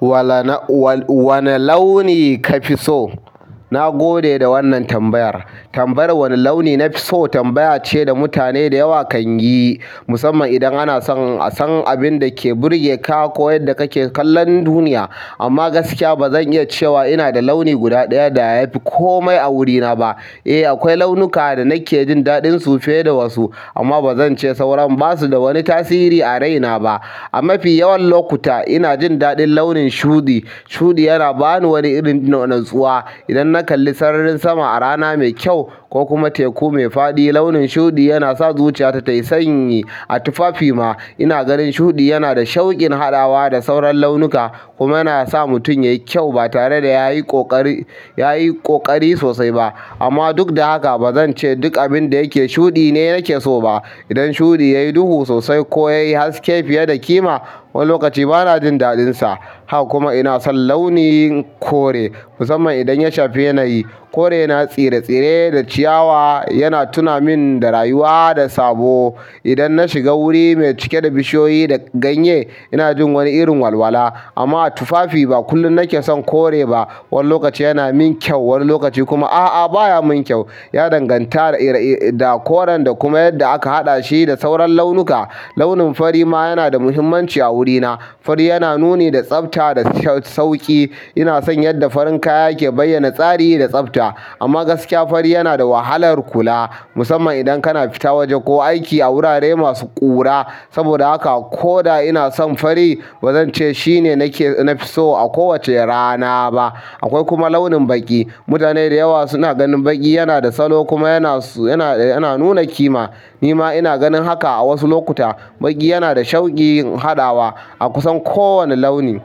Wane launi ka fi so? Na gode da wannan tambayar. Tambayar wane launi na fi so tambaya ce da mutane da yawa kan yi musamman idan ana son san abin da ke burge ka ko yadda kake kallon duniya. Amma gaskiya ba zan iya cewa ina da launi guda ɗaya da ya fi kome a wurina ba. Eh, akwai launuka da nake jin daɗinsu fiye da wasu amma ba zan ce sauran ba su da wani tasiri a raina ba. A mafi yawan lokuta ina jin daɗin launin shuɗi. Shuɗi yana ba ni wani irin no natsuwa. Idan na kalli sararin sama a rana mai kyau ko kuma teku mai faɗi launin shuɗi yana sa zuciyata tayi sanyi. A tufafi ma ina ganin shuɗi yana da shaukin haɗawa da sauran launuka kuma yana sa mutum yayi kyau ba tare da yayi ƙoƙari sosai ba. Amma duk da haka ba zan ce duk abin da yake shuɗi ne nake so ba. Idan shuɗi yayi duhu sosai ko yayi haske fiye da kima wani lokaci ba na jin daɗinsa. Haka kuma ina son launin kore musamman idan ya shafi yanayi. Kore yana tsire-tsire da ciyawa yana tuna min da rayuwa da sabo. Idan na shiga wuri mai cike da bishiyoyi da ganye ina jin wani irin walwala. Amma a tufafi ba kullum nake son kore ba. Wani lokaci yana min kyau wani lokaci kuma a'a baya min kyau. Ya danganta da koren da kuma yadda aka haɗa shi da sauran launuka. Launin fari ma yana da muhimmanci a wurina. Fari yana nuni da tsafta da sauƙi. Ina son yadda farin kaya ke bayyana tsari da tsafta. Amma gaskiya fari yana da wahalar kula musamman idan kana fita waje ko aiki a wurare masu ƙura. Saboda haka ko da ina son fari ba zan ce shine nake nafi so a kowace rana ba. Akwai kuma launin baƙi. Mutane da yawa suna ganin baƙi yana da salo kuma yana nuna kima. Ni ma ina ganin haka a wasu lokuta. Baƙi yana da shaukin haɗawa a kusan kowane launi.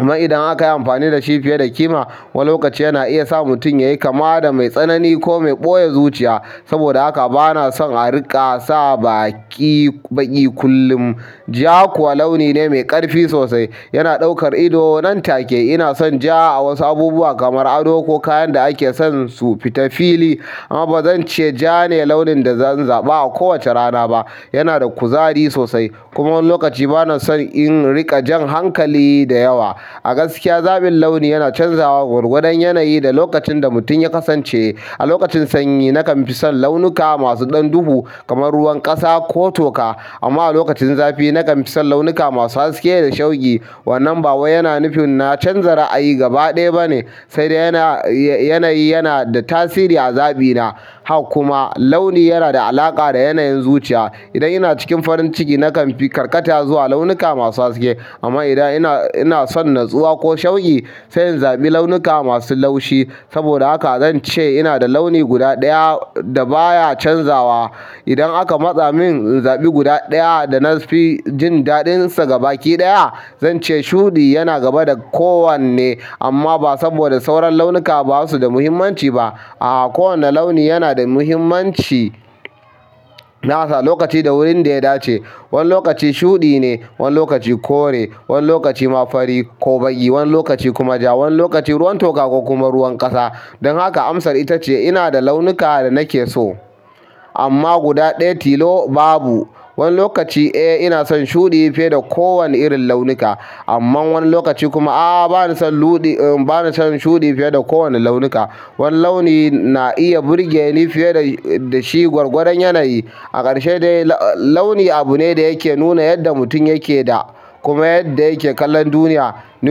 Amma idan aka yi amfani da shi fiye da kima wani lokaci yana iya sa mutum yayi kama da mai tsanani ko mai ɓoye zuciya. Saboda haka ba na son a riƙa sa baƙi kullum. Ja kuwa launi ne mai ƙarfi sosai yana ɗaukar ido nan take. Ina son ja a wasu abubuwa kamar ado ko kayan da ake son su fita fili. Amma ba zan ce ja ne launin da zan zaɓa a kowace rana ba. Yana da kuzari sosai kuma wani lokaci ba na son in riƙa jan hankali da yawa. A gaskiya zaɓin launi yana canzawa gwargwadon yanayi da lokacin da mutum ya kasance. A lokacin sanyi nakan fi son launuka masu ɗan duhu kamar ruwan ƙasa ko toka. Amma a lokacin zafi nakanfi son launuka masu haske da shauki. Wannan ba wai yana nufi na canza ra'ayi gaba ɗaya ba ne sai dai yanayi yana da tasiri a zaɓina. Hak kuma launi yana da alaƙa da yanayin zuciya. Idan ina cikin farin ciki nakan fi karkata zuwa launuka masu haske. Amma idan ina son natsuwa ko shauki sai in zaɓi launuka masu laushi. Saboda haka zan ce ina da launi guda ɗaya da baya canzawa. Idan aka matsa min in zaɓi guda ɗaya da na fi jin daɗinsa gaba ɗaya zan ce shuɗi yana gaba da kowanne. Amma ba saboda sauran launuka ba su da muhimmanci ba. A'a, kowane launi yana da muhimmanci nasa lokaci da wurin da ya dace. Wani lokaci shuɗi ne, wani lokaci kore, wani lokaci ma fari ko baƙi, wani lokaci kuma ja, wani lokaci ruwan toka ko kuma ruwan ƙasa. Don haka amsar ita ce ina da launuka da nake so amma guda ɗaya tilo babu. Wani lokaci eh ina son shuɗi fiye da kowane irin launuka amma wani lokaci kuma a'a ba na son shuɗi fiye da kowane launuka. Wani launi na iya burge ni fiye da shi gwargwadon yanayi. A ƙarshe dai launi abune da yake nuna yadda mutum yakeda, kuma yadda yake kallon duniya. Ni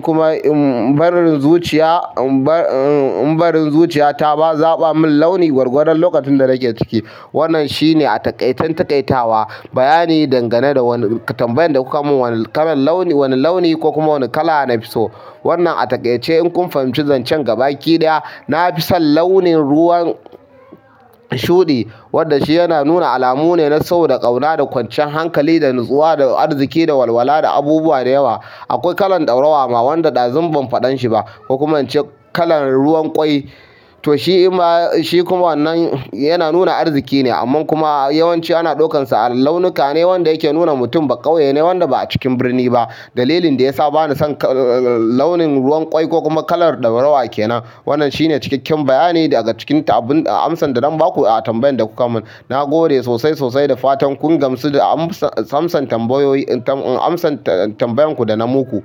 kuma im barin zuciya ta ba zaɓa min launi gwargwadon lokacin da nake ciki. Wannan shine a taƙaiten taƙaitawa. Bayani dangane da wani tambayan da kuka mun. Wane launi ko kuma wane kala na fi so. Wannan a taƙaice in kun fahimci zan ce gaba ɗaya na fi son launin ruwan shuɗi wanda shi yana nuna alamu ne na so da ƙauna da kwanciyan hankali da natsuwa da arziki da walwala da abubuwa da yawa. Akwai kalar ɗaurawa ma wanda ɗazun ban faɗan shi ba. Kokuman ince kalar ruwan ƙwai to shi kuma wannan yana nuna arziki ne amma kuma yawanci ana ɗaukansa launuka ne wanda yake nuna mutum ba ƙauye ne wanda ba a cikin birni ba. Dalilin da ya sa ba na son launin ruwan ƙwai ko kuma kalar ɗaurawa ke nan. Wannan shi ne cikakken bayani daga cikin abun amsa don ba ku a tambayan da kuka mun. Na gode sosai sosai da fatan kun gamsu da amsan tambayoyin ku da na muku.